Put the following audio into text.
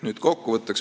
Nüüd kokkuvõte.